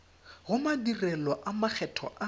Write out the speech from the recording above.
go madirelo a makgetho a